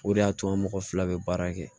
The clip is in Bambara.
O de y'a to an mɔgɔ fila bɛ baara kɛ